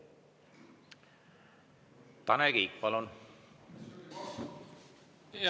Tanel Kiik, palun!